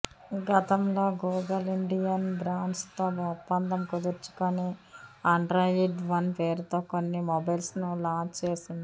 గతంలో Google Indian brands తో ఒప్పందం కుదుర్చుకుని ఆండ్రాయిడ్ వన్ పేరుతో కొన్ని మొబైల్స్ ను లాంచ్ చేసింది